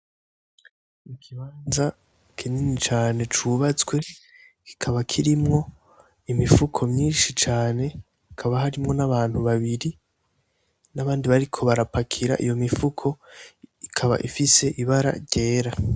Mu kibanza kenimi cane cubatswe kikaba kirimwo imifuko myinshi cane akaba harimwo n'abantu babiri n'abandi bariko barapakira iyo mifuko ikaba ifise ibara ryera.